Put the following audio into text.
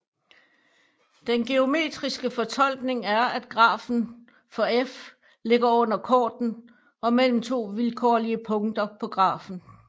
Den geometriske fortolkning er at grafen for f ligger under korden mellem to vilkårlige punkter på grafen